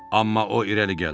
Amma o irəli gəldi.